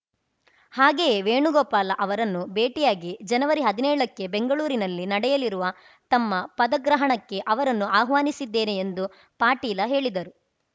ಹಾಗೆಯೇ ವೇಣುಗೋಪಾಲ ಅವರನ್ನು ಭೇಟಿಯಾಗಿ ಜನವರಿಹದಿನೇಳಕ್ಕೆ ಬೆಂಗಳೂರಿನಲ್ಲಿ ನಡೆಯಲಿರುವ ತಮ್ಮ ಪದಗ್ರಹಣಕ್ಕೆ ಅವರನ್ನು ಆಹ್ವಾನಿಸಿದ್ದೇನೆ ಎಂದು ಪಾಟೀಲ ಹೇಳಿದರು